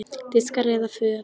Diskar eða föt?